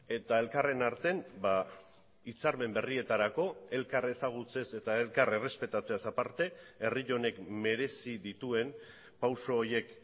eta elkarren artean hitzarmen berrietarako elkar ezagutzez eta elkar errespetatzeaz aparte herri honek merezi dituen pauso horiek